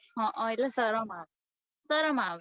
હઅ એટલે સરમ આવે સરમ આવે